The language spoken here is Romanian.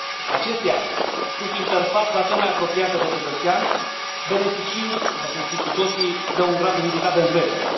Acestea sunt interfața cea mai apropiată de cetățean, beneficiind, după cum știm cu toții, de un grad ridicat de încredere.